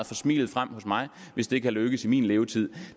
få smilet frem hos mig hvis det kan lykkes i min levetid